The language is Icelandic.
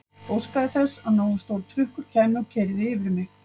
Óskaði þess að nógu stór trukkur kæmi og keyrði yfir mig.